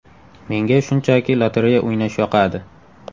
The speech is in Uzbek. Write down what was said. Menga shunchaki lotereya o‘ynash yoqadi.